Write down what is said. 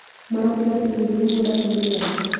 Marokĩra tene gũthĩi mũgũnda kũrĩmĩra?